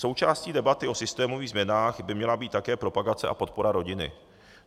Součástí debaty o systémových změnách by měla být také propagace a podpora rodiny.